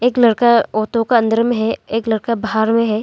एक लड़का ऑटो का अंदर में है एक लड़का बाहर में है।